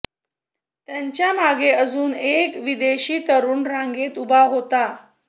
त्यांच्या मागे अजून एक विदेशी तरुण रांगेत उभा होता